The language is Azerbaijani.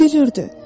O gülürdü.